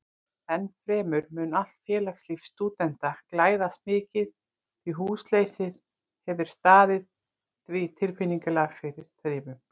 Ennfremur mun allt félagslíf stúdenta glæðast mikið, því húsleysið hefir staðið því tilfinnanlega fyrir þrifum.